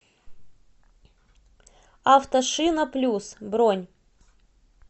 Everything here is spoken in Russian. автошинаплюс бронь